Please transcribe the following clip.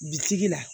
Bitigi la